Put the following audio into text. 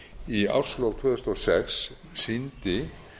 í árslok tvö þúsund og sex sýndi